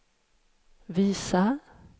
visa